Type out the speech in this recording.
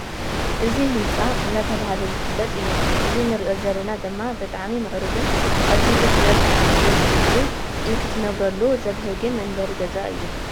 እዙይ ህንፃ እናተባህለ ዝፍለጥ እዩ። እዙይ እንርእዮ ዘለና ድማ ብጣዕሚ ምዕርጕን ኣዝዩ ክትርእዮ ብጣዕሚ ደስ ዝብልን ንክትነብረሉ ዘብህግን መንበሪ ገዛ እዩ